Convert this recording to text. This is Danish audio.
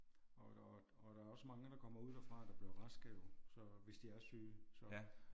Og der er og der er også mange der kommer ud derfra der bliver raske jo så hvis de er syge så